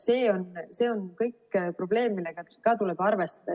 See on kõik probleem, millega ka tuleb arvestada.